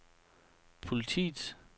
politiets